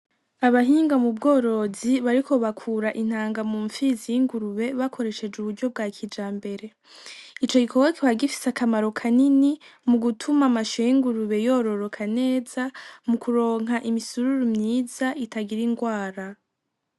Abahinga m'ubworozi bariko bakura intanga m'umpfizi y'ingurube bakoresheje uburyo bwa kijambere, Ico gikorwa kikaba gifise akamaro kanini mugutuma amasho y'ingurube yororoka neza mukuronka imisururu mwiza itagira ingwara.